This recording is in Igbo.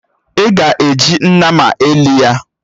Ị ga-eji nnama elị ya!